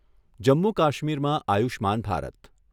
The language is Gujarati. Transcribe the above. જમ્મુ કાશ્મીરમાં આયુષ્યમાન ભારત